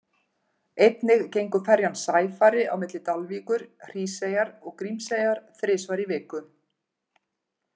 Einnig gengur ferjan Sæfari á milli Dalvíkur, Hríseyjar og Grímseyjar þrisvar í viku.